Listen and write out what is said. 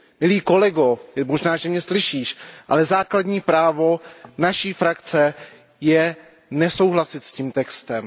Milý kolego, možná, že mě slyšíš, ale základní právo naší frakce je nesouhlasit s tím textem.